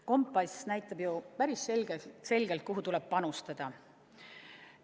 Kompass näitab ju päris selgelt, kuhu tuleb panustada.